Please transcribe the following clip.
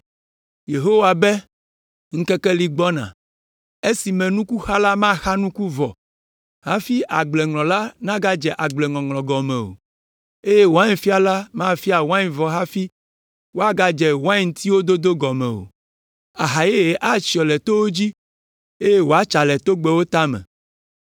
Yehowa be, “Ŋkekewo li gbɔna,” “esime nukuxala maxa nuku vɔ hafi agbleŋlɔla nagadze agbleŋɔŋlɔ gɔme o, eye wainfiala mafia wain vɔ hafi woagadze waintiwo dodo gɔme o. Aha yeye atsyɔ le towo dzi, eye wòatsa le togbɛwo tame.